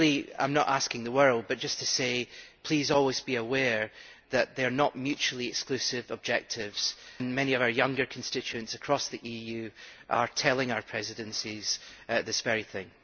I am not asking the world, but I should like to say please, always be aware that they are not mutually exclusive objectives. Many of our younger constituents across the EU are telling our presidencies this very thing.